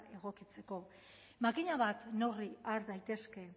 egokitzeko makina bat neurri har daitezke